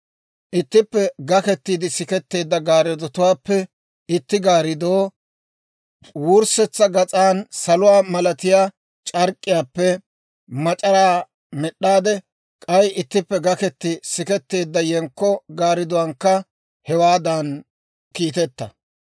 Ittippe gakettiide siketteedda gaarddotuwaappe itti gaariduwaa wurssetsa gas'an saluwaa malatiyaa c'ark'k'iyaappe mac'araa med'd'a; k'ay ittippe gaketi siketteedda yenkko gaardduwaankka hewaadan kiiteta.